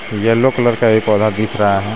Yellow colour का एक पौधा दिख रहा है.